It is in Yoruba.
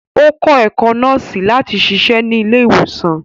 Ó kó̩ ẹ̀kó̩ nọ́ọ̀sì lati siṣe nílé ìwòsàn